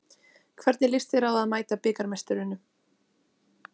Hvernig lýst þér á að mæta bikarmeisturunum?